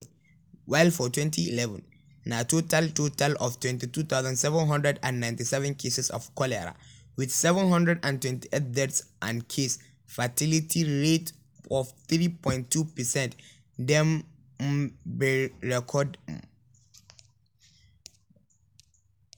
while for 2011 na total total of 22797 cases of cholera wit 728 deaths and case-fatality rate of 3.2 percent dem um bin record. um